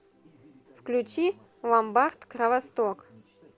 включи ломбард кровосток